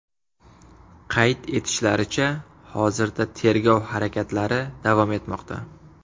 Qayd etishlaricha, hozirda tergov harakatlari davom etmoqda.